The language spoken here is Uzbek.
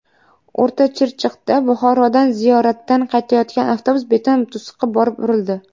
O‘rtachirchiqda Buxorodan ziyoratdan qaytayotgan avtobus beton to‘siqqa borib urildi.